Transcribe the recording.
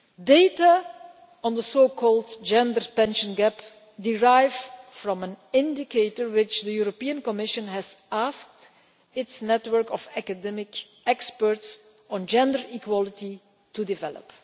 Data on the so called gender pension gap derive from an indicator which the Commission asked its network of academic experts on gender equality to develop.